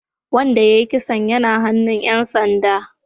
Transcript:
Wanda ya yi kisan yana hannun ‘yan sanda